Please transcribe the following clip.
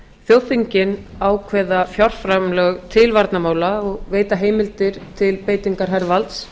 þjóðþingin ákveða fjárframlög til varnarmála og veita heimildir til beitingar hervalds